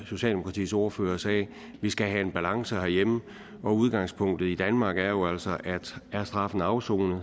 socialdemokratiets ordfører sagde skal have en balance herhjemme og udgangspunktet i danmark er jo altså at er straffen afsonet